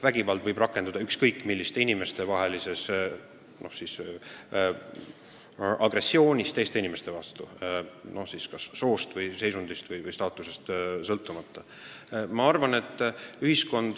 Vägivald võib puhkeda ükskõik millise inimestevahelise agressiooni korral teise inimese vastu soost, seisundist või staatusest sõltumata.